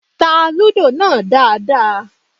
Tá Lúdò náà dáadáa! Yẹmí pàṣẹ